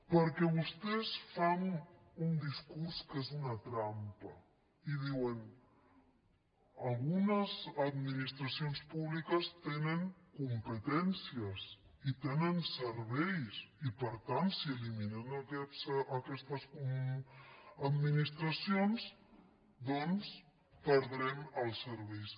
perquè vostès fan un discurs que és una trampa i diuen algunes administracions públiques tenen competències i tenen serveis i per tant si eliminen aquestes administracions doncs perdrem els serveis